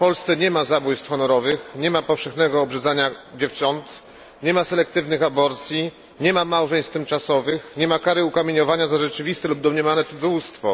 W Polsce nie ma zabójstw honorowych, nie ma powszechnej praktyki obrzezania dziewcząt, nie ma selektywnych aborcji, nie ma małżeństw tymczasowych, nie ma kary ukamieniowania za rzeczywiste lub domniemane cudzołóstwo.